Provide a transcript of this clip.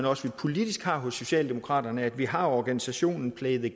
også politisk har hos socialdemokraterne over at vi har organisationen play the